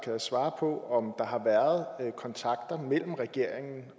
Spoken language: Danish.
kan svare på om der har været kontakter mellem regeringen